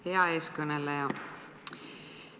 Hea eeskõneleja!